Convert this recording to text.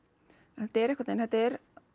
þetta er einhvern veginn þetta er